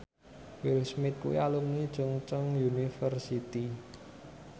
Will Smith kuwi alumni Chungceong University